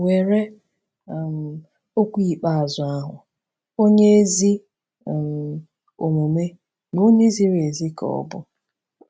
Were um okwu ikpeazụ ahụ: “Onye ezi um omume na onye ziri ezi ka ọ bụ.”